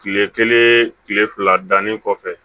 Kile kelen kile fila dannen kɔfɛ